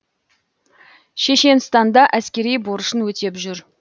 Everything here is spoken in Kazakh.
шешенстанда әскери борышын өтеп жүр